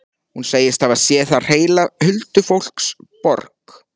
Hún segist hafa séð þar heila huldufólksborg.